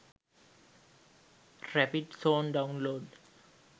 rapid zone download